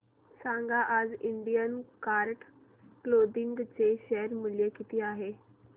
सांगा आज Indian card clothing चे शेअर मूल्य किती आहे